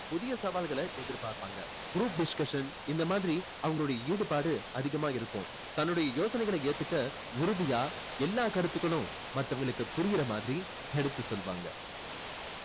புதிய சவால்களை எதிர் பார்ப்பாங்க group discussion இந்த மாதிரி அவங்களோட ஈடுபாடு அதிகமா இருக்கும் தன்னுடைய யோசனைகளை ஏத்துக்க உறுதியா எல்லா கருத்துகளும் மத்தவங்களுக்கு புரியுற மாதிரி எடுத்து சொல்லுவாங்க